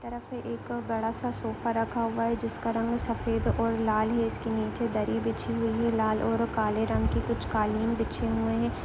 एक तरफ एक बड़ा सा सोफा रखा हुआ है जिसका रंग सफेद और लाल है। इसके नीचे दरी बिछी हुई है लाल और काले रंग की कुछ कालीन बिछे हुए हैं।